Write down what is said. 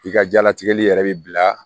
I ka jalatigɛli yɛrɛ bi bila